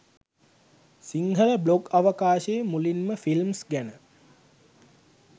Sinhala blog අවකාශයේ මුලින්ම films ගැන